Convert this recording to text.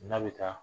N'a bɛ taa